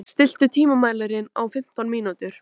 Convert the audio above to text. Amor, stilltu tímamælinn á fimmtán mínútur.